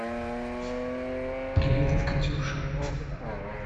привет от катюши